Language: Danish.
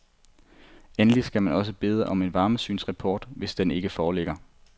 Endelig skal man også bede om en varmesynsrapport, hvis den ikke foreligger.